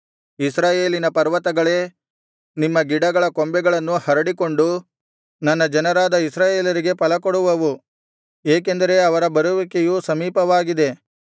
ಇಸ್ರಾಯೇಲಿನ ಪರ್ವತಗಳೇ ನಿಮ್ಮ ಗಿಡಗಳ ಕೊಂಬೆಗಳನ್ನು ಹರಡಿಕೊಂಡು ನನ್ನ ಜನರಾದ ಇಸ್ರಾಯೇಲರಿಗೆ ಫಲಕೊಡುವವು ಏಕೆಂದರೆ ಅವರ ಬರುವಿಕೆಯು ಸಮೀಪವಾಗಿದೆ